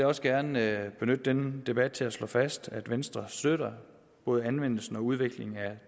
også gerne benytte denne debat til at slå fast at venstre støtter både anvendelsen og udviklingen af